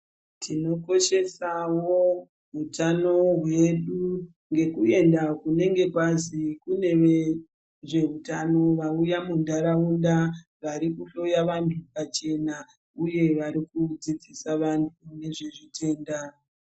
Tinokoshesawo utano hwedu ngekuenda kunenge kwazi kune vezveutano vauya muntaraunda varikuhloya vantu pachena uye varikudzidzisa vantu nezvezvitenda.